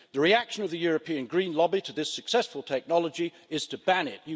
The reaction of the European green lobby to this successful technology is to ban it.